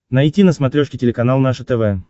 найти на смотрешке телеканал наше тв